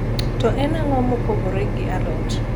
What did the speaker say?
to en ango mopogore gi a lot